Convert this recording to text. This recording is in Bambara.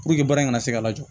Puruke baara in ka se ka lajɔ